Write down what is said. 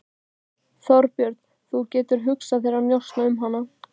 Þorbjörn: Þú getur hugsað þér að kjósa hann?